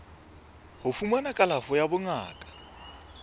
ho fumana kalafo ya bongaka